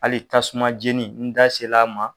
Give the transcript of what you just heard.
Hali tasuma jeni n da se l'a ma.